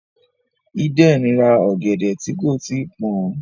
Eden rá ògèdè tí kò tíì pọn.